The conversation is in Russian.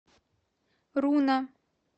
руна